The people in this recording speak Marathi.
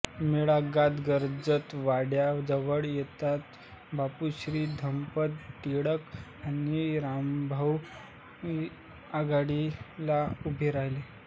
मेळा गात गर्जत वाड्याजवळ येताच बापूश्रीधपंत टिळक आणि रामभाऊ आघाडीला उभे राहिले